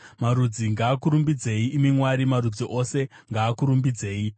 Marudzi ngaakurumbidzei, imi Mwari; marudzi ose ngaakurumbidzei.